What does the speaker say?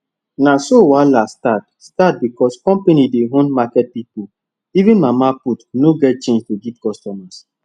na so wahala start start because company dey owe market people even mama put no get change to give customers